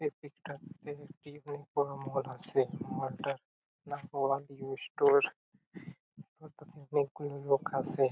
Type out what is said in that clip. একেকটা একেকটি অনেক বড়ো মল আছে । মল টার নাম মল মিনি স্টোর এবং তাতে অনেকগুলো লোক আছে।